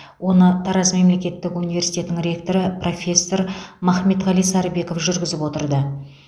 оны тараз мемлкеттік университетінің ректоры профессор махметғали сарыбеков жүргізіп отырды